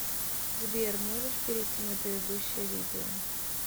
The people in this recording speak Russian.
сбер можешь перейти на предыдущее видео